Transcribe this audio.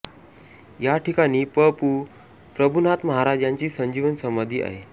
या ठिकाणी प पू प्रभूनाथ महाराज यांची संजीवन समाधी आहे